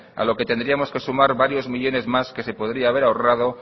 a lo que tendríamos que sumar varios millónes más que se podría haber ahorrado